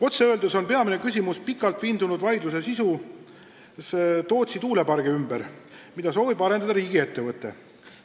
Otse öeldes on peamine küsimus pikalt vindunud vaidlus Tootsi tuulepargi ümber, mida soovib arendada riigiettevõte.